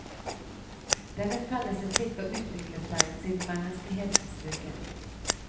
Denne felles etikk har utviklet seg siden menneskehetens vugge.